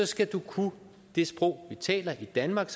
skal du kunne det sprog vi taler i danmark